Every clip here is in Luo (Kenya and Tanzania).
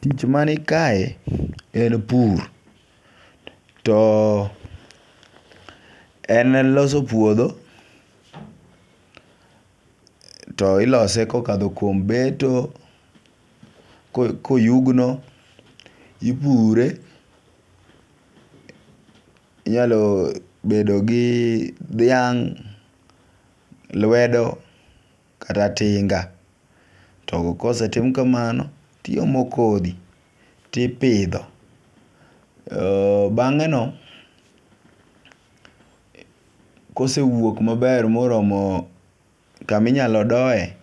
Tich mani kae en pur. To en loso puodho to ilose kokadho kuom beto ko koyugno ipure . Inyalo bedo gi dhiang' lwedo kata tinga. To kosetim kamano tiomo kodhi tipidho, bang'e no kosewuok maber moromo kaminyalo doye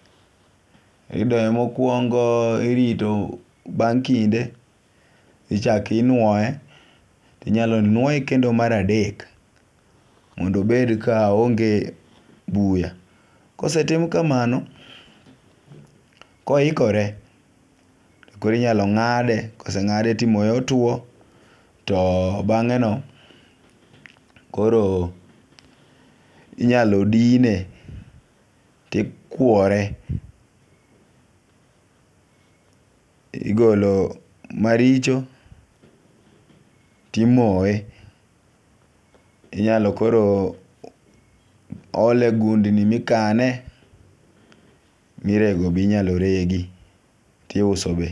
idoye mokwongo irito bang' kinde ichaki nuoye. Inyalo nuoye kendo mar adek mondo obed ka oonge buya . Kosetim kamano, koikore kori nyalo ng'ade koseng'ade timoye otuo to bang'e no koro inyalo dine tikwore. Igolo maricho timoye, inyalo koro ole gundni mikane mirego binyalo regi tiuso be.